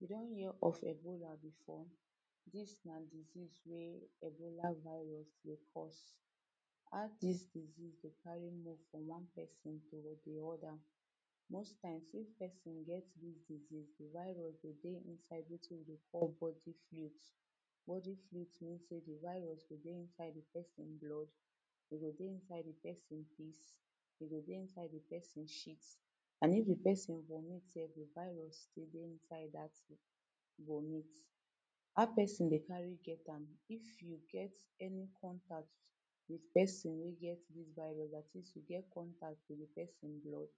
you don hear of ebola before? this na disease wey ebola virus dey cause how this disease dey carry move from one person to the oda. most times if person get this disease the virus go dey inside wetin we dey call wetin we dey call body fluids body fluds mean say the virus means sey the virus go dey inside person blood e go dey inside the person piss e go dey inside the person shit an if the person vomit sef the virus dey inside that vomit. how person dey carry get am? if you get any contact with person wey get this virus at least you get contact with the person blood,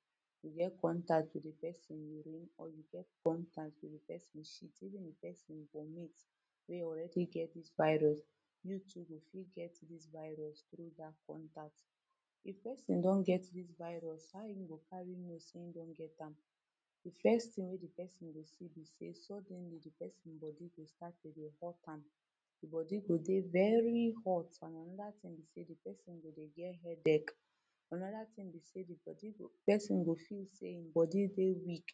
you get contact with the person urine or you get contact with the person shit even the person vomit, wey already get this virus, you too you fit get this virus tro that contact. if person don get this virus, how him go carry know say him don get am? the first thing wey the person go see be sey suddenly the person body go start to dey hot am e body go dey very hot an anoda thing be sey the person go dey get Headache, anoda thing be sey e body go person go feel sey him body dey weak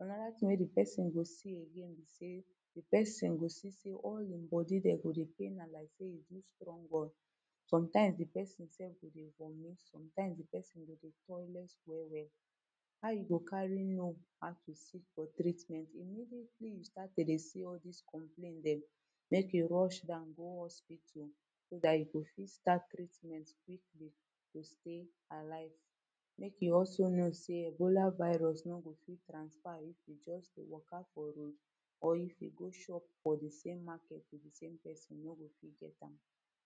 anoda wey the person go see again be sey the person go see all him body dem go dey pain am like sey heno strong well sometimes the person sef go dey go dey vomit, sometimes the person go dey toilet well well how e go carry know how to seek for treatment immediately you start to dey see all these complain them, make e rush down go hospital sp that e go fit start treatment quickly to stay alive make e also know that ebola virus no go fit transfer if you just dey waka for road or if you shop for the same market with the same person, you no go fit get am